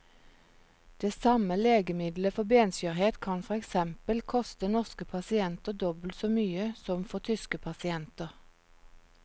Det samme legemiddelet for benskjørhet kan for eksempel koste norske pasienter dobbelt så mye som for tyske pasienter.